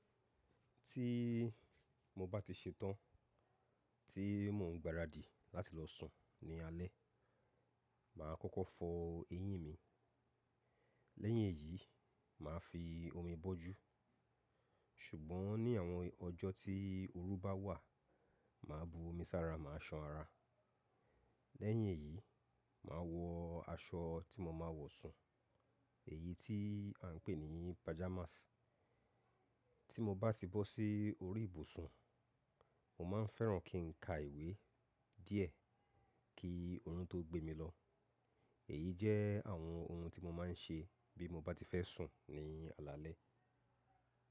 Tí mo bá ti ṣe tán, tí mò ń gbaradì láti lọ sùn ní alẹ́, mà á kọ́kọ́ fọ eyín mi. Lẹ́yìn èyí, mà á fi omi bọ́jú. Ṣùgbọ́n ní àwọn ọjọ́ tí oru bá wà, mà á bu omi sára, mà á ṣan ara. Lẹ́yìn èyí, mà á wọ aṣọ tí mo máa wọ̀ sùn, èyí tí à ń pè ní pajamas. Tí mo bá ti bọ́ sí orí ìbùsùn, mo máa ń fẹ́ran kí n ka ìwé díẹ̀ kí orun tó gbé mi lọ. Èyí jẹ́ àwọn ohun tí mo máa ń ṣe bí mo bá ti fẹ́ sùn ní alaalẹ́.